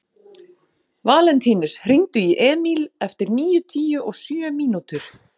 Valentínus, hringdu í Emíl eftir níutíu og sjö mínútur.